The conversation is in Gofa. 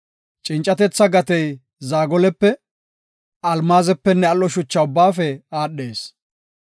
Cincatetha gatey zaagolepe, almaazepenne al7o shucha ubbaafe aadhees.